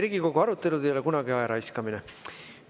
Riigikogu arutelud ei ole kunagi ajaraiskamine.